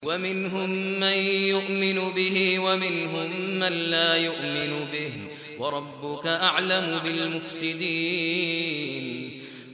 وَمِنْهُم مَّن يُؤْمِنُ بِهِ وَمِنْهُم مَّن لَّا يُؤْمِنُ بِهِ ۚ وَرَبُّكَ أَعْلَمُ بِالْمُفْسِدِينَ